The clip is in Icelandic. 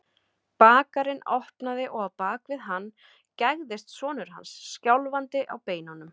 Bakarinn opnaði og á bak við hann gægðist sonur hans, skjálfandi á beinunum.